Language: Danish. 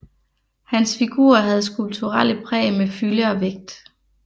Hans figurer havde skulpturelle præg med fylde og vægt